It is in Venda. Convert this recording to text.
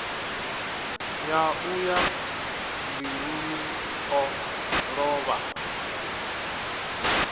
yaṋu ya mbiluni o lovha